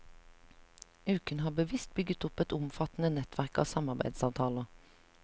Uken har bevisst bygget opp et omfattende nettverk av samarbeidsavtaler.